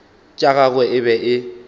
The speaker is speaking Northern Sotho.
tša gagwe e be e